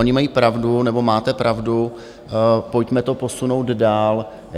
Oni mají pravdu, nebo máte pravdu, pojďme to posunout dál.